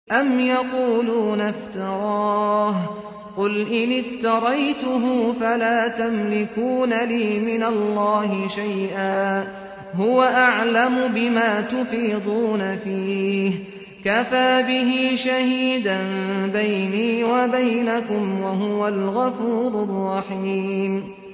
أَمْ يَقُولُونَ افْتَرَاهُ ۖ قُلْ إِنِ افْتَرَيْتُهُ فَلَا تَمْلِكُونَ لِي مِنَ اللَّهِ شَيْئًا ۖ هُوَ أَعْلَمُ بِمَا تُفِيضُونَ فِيهِ ۖ كَفَىٰ بِهِ شَهِيدًا بَيْنِي وَبَيْنَكُمْ ۖ وَهُوَ الْغَفُورُ الرَّحِيمُ